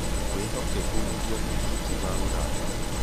Wĩhokeku nĩguo mũthingi wa ũrata.